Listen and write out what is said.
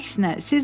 Tam əksinə.